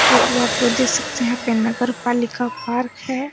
तो आप लोग देख सकते है यहाँ पे नगरपालिका पार्क है।